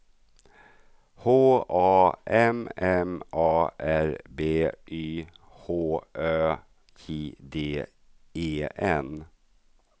H A M M A R B Y H Ö J D E N